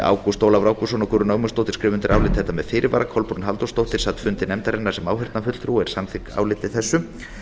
ágúst ólafur ágústsson og guðrún ögmundsdóttir skrifa undir álit þetta með fyrirvara kolbrún halldórsdóttir sat fundi nefndarinnar sem áheyrnarfulltrúi og er samþykk áliti